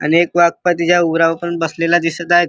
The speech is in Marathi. आणि एक वाघ तिच्या उरावर पण बसलेला दिसत आहेत.